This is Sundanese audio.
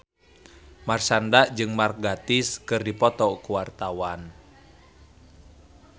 Marshanda jeung Mark Gatiss keur dipoto ku wartawan